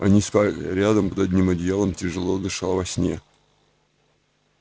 они спали рядом под одним одеялом тяжело дыша во сне